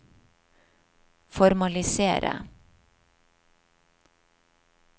formalisere